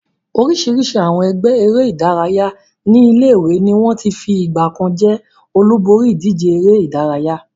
Oríṣiríṣi àwọn ẹgbẹ́ eré-idárayá ní ilé-ìwé ni wọ́n ti fi ìgbà kan jẹ́ olúborí ìdíje eré-idárayá.